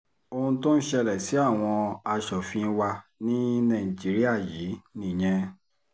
ohun tó ń ṣẹlẹ̀ sí àwọn asòfin wa ní nàìjíríà yìí nìyẹn